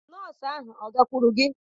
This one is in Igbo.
Nọọsụ ahụ agakwuru gị?